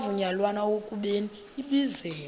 kwavunyelwana ekubeni ibizelwe